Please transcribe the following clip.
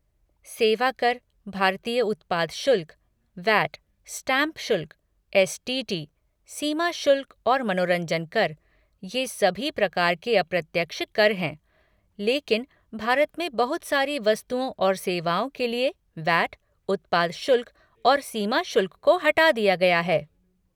सेवा कर, भारतीय उत्पाद शुल्क, वैट, स्टाम्प शुल्क, एस.टी.टी., सीमा शुल्क और मनोरंजन कर, ये सभी प्रकार के अप्रत्यक्ष कर हैं, लेकिन भारत में बहुत सारी वस्तुओं और सेवाओं के लिए वैट, उत्पाद शुल्क और सीमा शुल्क को हटा दिया गया है।